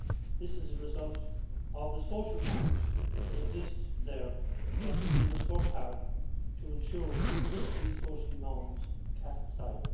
This is a result of the social norms that exist there, and I think that we must work hard to ensure that those social norms are cast aside.